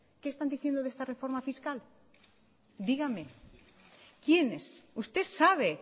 qué están diciendo de esta reforma fiscal dígame quiénes usted sabe